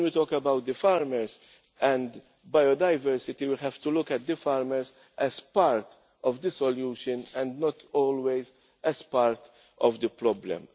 When we talk about the farmers and biodiversity, we have to look at the farmers as part of the solution and not always as part of the problem.